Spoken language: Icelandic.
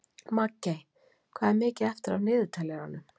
Maggey, hvað er mikið eftir af niðurteljaranum?